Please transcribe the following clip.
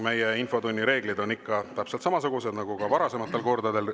Meie infotunni reeglid on ikka täpselt samasugused nagu varasematel kordadel.